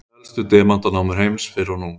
helstu demantanámur heims fyrr og nú